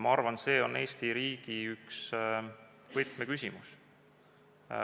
Ma arvan, et see on Eesti riigi üks võtmeküsimusi.